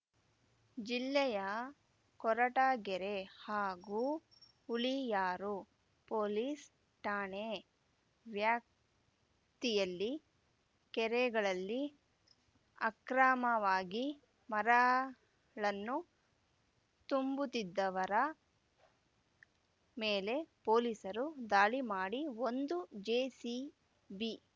ಜಿಲ್ಲೆಯ ಕೊರಟಗೆರೆ ಹಾಗೂ ಹುಳಿಯಾರು ಪೊಲೀಸ್ ಠಾಣೆ ವ್ಯಾಪ್ತಿಯಲ್ಲಿ ಕೆರೆಗಳಲ್ಲಿ ಅಕ್ರಮವಾಗಿ ಮರ ಳನ್ನು ತುಂಬುತ್ತಿದ್ದವರ ಮೇಲೆ ಪೊಲೀಸರು ದಾಳಿ ಮಾಡಿ ಒಂದು ಜೆಸಿಬಿ